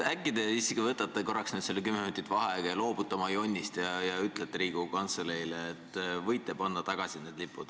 Äkki te siiski võtate nüüd selle kümme minutit vaheaega, loobute oma jonnist ja ütlete Riigikogu Kantseleile, et võib need lipud tagasi panna.